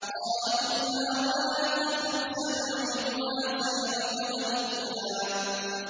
قَالَ خُذْهَا وَلَا تَخَفْ ۖ سَنُعِيدُهَا سِيرَتَهَا الْأُولَىٰ